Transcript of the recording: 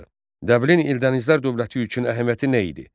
Dəbilin Eldənizlər dövləti üçün əhəmiyyəti nə idi?